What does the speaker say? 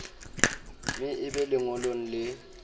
me e be lengolong le